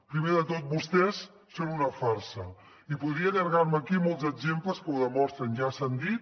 primer de tot vostès són una farsa i podria allargar me aquí amb molts exemples que ho demostren ja s’han dit